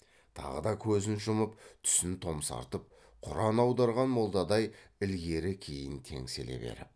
тағы да көзін жұмып түсін томсартып құран аударған молдадай ілгері кейін теңселе беріп